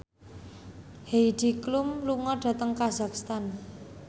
Heidi Klum lunga dhateng kazakhstan